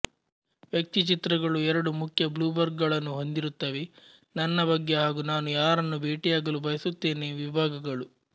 ವ್ಯಕ್ತಿಚಿತ್ರಗಳು ಎರಡು ಮುಖ್ಯ ಬ್ಲುರ್ಬ್ ಗಳನ್ನು ಹೊಂದಿರುತ್ತವೆ ನನ್ನ ಬಗ್ಗೆ ಹಾಗೂ ನಾನು ಯಾರನ್ನು ಭೇಟಿಯಾಗಲು ಬಯಸಯತ್ತೇನೆ ವಿಭಾಗಗಳು